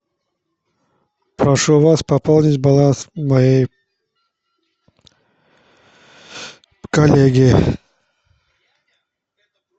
прошу вас пополнить баланс моей коллеги